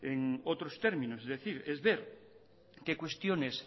en otros términos es decir es ver qué cuestiones